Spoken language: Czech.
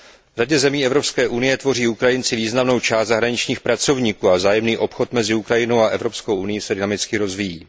V řadě zemí Evropské unie tvoří Ukrajinci významnou část zahraničních pracovníků a vzájemný obchod mezi Ukrajinou a Evropskou unií se dynamicky rozvíjí.